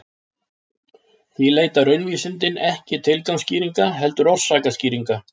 Því leita raunvísindin ekki tilgangsskýringa heldur orsakaskýringa.